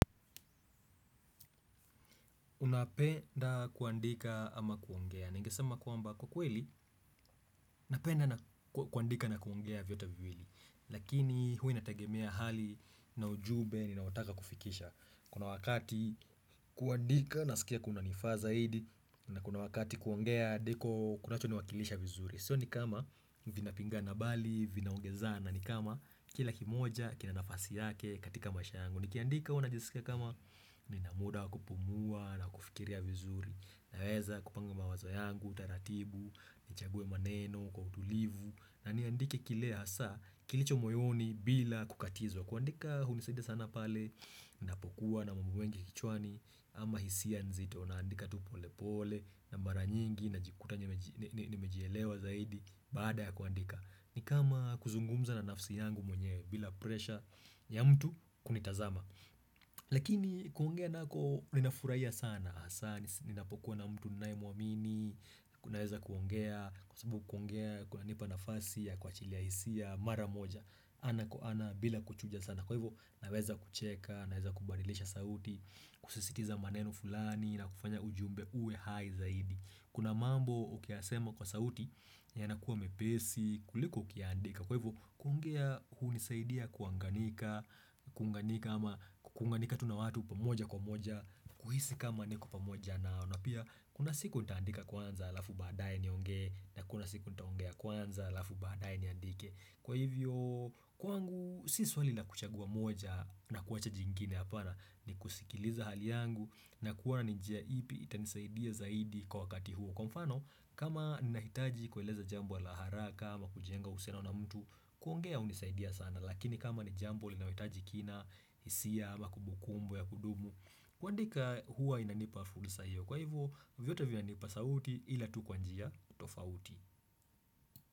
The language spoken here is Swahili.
Unapenda kuandika ama kuongea na ningesema kwamba kwa kweli napenda kuandika na kuongea vyote viwili Lakini huwa inatagemea hali na ujumbe ni naotaka kufikisha Kuna wakati kuandika nasikia kunanifaa zaidi na kuna wakati kuongea ndiko kunacho ni wakilisha vizuri Sio ni kama vinapinga na bali, vinaongeza na ni kama kila kimoja, kinanafasi yake katika masha yangu nikiandika huwa najisika kama ninamuda wa kupumua na kufikiria vizuri Naweza kupanga mawazo yangu, taratibu, nichague maneno kwa utulivu na niandike kile hasa kilicho moyoni bila kukatizwa kuandika hunisidia sana pale, ninapokuwa na mambo mengi kichwani Ama hisia nzito, naandika tupole pole na maranyingi na jikuta nimejielewa zaidi Baada ya kuandika ni kama kuzungumza na nafsi yangu mwenyewe bila presha ya mtu kunitazama Lakini kuongea nako ninafurahia sana hasa ninapokuwa na mtu ninayemuamini kunaweza kuongea kwa sababu kuongea kuna nipa nafasi ya kwa chilia hisia mara moja ana kwa ana bila kuchuja sana Kwa hivo naweza kucheka naweza kubadilisha sauti kusisitiza maneno fulani na kufanya ujumbe uwe hai zaidi Kuna mambo ukiyasema kwa sauti yanakuwa mepesi kuliko ukiandika kwa hivyo kuongea hunisaidia kuanganika kuanganika ama kunganika tunawatu pamoja kwa moja kuhisi kama niko pamoja nao na pia kuna siku nitaandika kwanza alafu baadaye ni onge na kuna siku nitaongea kwanza alafu baadaye niandike kwa hivyo kwangu si swaila kuchagua moja na kuwacha jingine hapana ni kusikiliza hali yangu na kuwana nijia ipi itanisaidia zaidi kwa wakati huo Kwa mfano, kama ni nahitaji kueleza jambo la haraka, ama kujenga uhusiano na mtu, kuongea hunisaidia sana. Lakini kama ni jambo linalohitaji kina, hisia, ama kumbukumbu ya kudumu, kuandika huwa inanipa fursa hiyo. Kwa hivyo, vyote vinanipa sauti ila tu kwa njia tofauti.